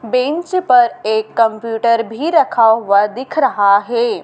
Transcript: Bench पर एक computer भी रखा हुआ दिख रहा है।